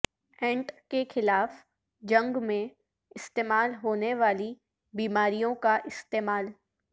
اینٹ کے خلاف جنگ میں استعمال ہونے والی بیماریوں کا استعمال